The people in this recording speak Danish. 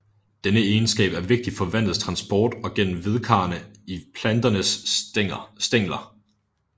Denne egenskab er vigtig for vandets transport op gennem vedkarrene i planternes stængler